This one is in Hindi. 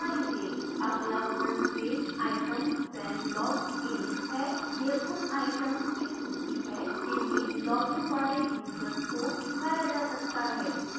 अगला front page items when logged in है यह उन items की सूची है जिन्हें logged इन वाले यूजर्स को दिखाया जा सकता है